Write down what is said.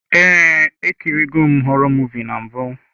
Ee, ekiri go m họrọ muvịị na mbụ.